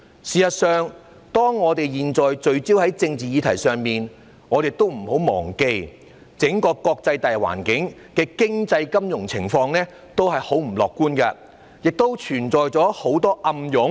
事實上，當我們現在聚焦在政治議題上的時候，不要忘記，整個國際大環境的經濟金融情況都很不樂觀，存在很多暗湧。